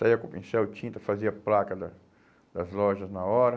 Saía com pincel e tinta, fazia placa da das lojas na hora.